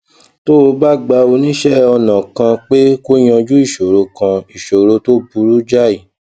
tó o bá gba oníṣé ọnà kan pé kó yanjú ìṣòro kan ìṣòro tó burú jáì